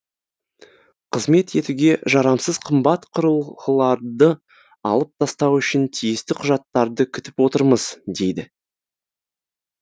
қызмет етуге жарамсыз қымбат құрылғыларды алып тастау үшін тиісті құжаттарды күтіп отырмыз дейді